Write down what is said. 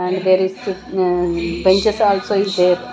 And there is uh benches also is there.